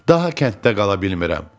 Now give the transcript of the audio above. Daha kənddə qala bilmirəm.